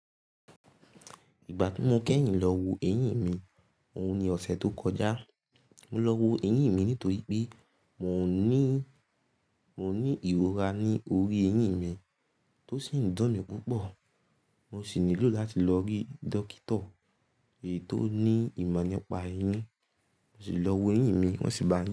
Ìgbà tí mo kẹ́yìn lọ wo eyín mi, òun ni ọ̀sẹ̀ tó kọjá. Mo lọ wo eyín mi nítorí pé mò ń ní, mò ń ní ìrora ní orí eyín mi tó sì ń dun mi púpọ̀. Mo sì nílò láti lọ rí dókítà èyí tó ní ìmọ̀ nípa eyín. Mo sì lọ wo eyín mi wọ́n sì bá.